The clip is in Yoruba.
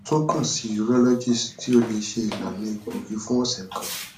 tun kan si urologist ti o le ṣe ilana egboogi fun ọsẹ kan